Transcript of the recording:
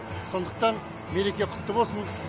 сондықтан мереке құтты болсын